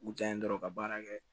U janye dɔrɔn ka baara kɛ